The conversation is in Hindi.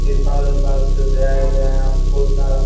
तिरपाल-उरपाल से सजाया गया है यहाँ पे बहुत सारा।